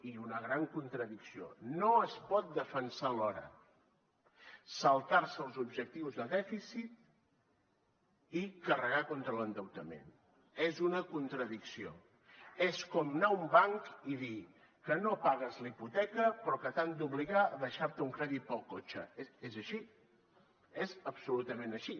i una gran contradicció no es pot defensar alhora saltar se els objectius de dèficit i carregar contra l’endeutament és una contradicció és com anar a un banc i dir que no pagues la hipoteca però que t’han d’obligar a deixar te un crèdit per al cotxe és així és absolutament així